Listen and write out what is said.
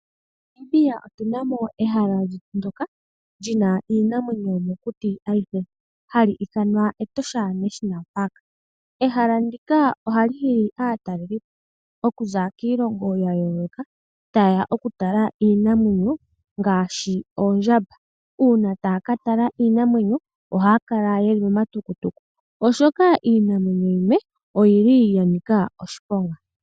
MoNamibia otu na mo ehala lyetu ndyoka li na iinamwenyo yomokuti hali ithanwa Etosha National Park. Ehala ndika ohali hili aatalelipo okuza kiilongo ya yooloka taye ya okutala iinamwenyo ngaashi oondjamba. Uuna taya ka tala iinamwenyo ohaya kala ye li momatukutuku, oshoka iinamwenyo yimwe oya nika oshiponga.